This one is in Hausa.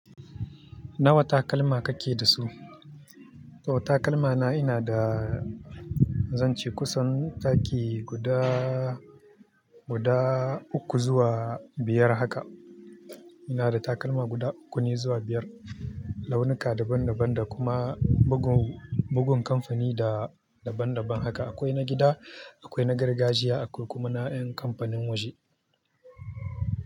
Nawa takalma kake da su? To takalmana ina da zan ce kusan daki guda, guda uku zuwa biyar haka. Ina da takalma guda uku ne zuwa biyar, launuka daban-daban da kuma bugun, bugun kamfani da daban-daban haka. Akwai na gida, akwai na gargajiya akwai kuma na ƴan kamfanin waje.